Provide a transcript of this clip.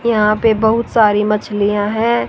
यहां पे बहुत सारी मछलियां हैं।